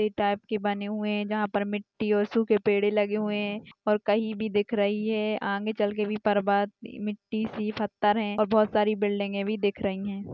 Type की बने हुए हैं। जहां पर मिट्टी और सूखे पेड़ लगे हुए हैं और कहीं भी दिख रही है आगे चलकर भी बर्बाद मिट्टी सी पत्थर है बहुत सारी बिल्डिंगे भी दिख रही हैं।